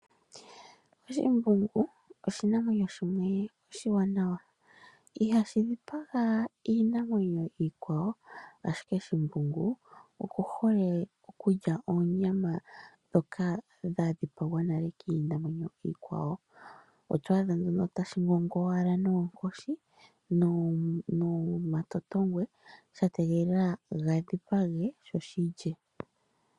Oshimbungu oshinamwenyo shimwe oshiwanawa. Ihashi dhipaga iinamwenyo iikwawo ashike shimbungu oku hole okulya oonyama dhoka dha dhipagwa nale kiinamwenyo iikwawo. Otwaadha nduno ta shingowala noonkoshi nomatotongwe ya tegelela ga dhipage sho shilye.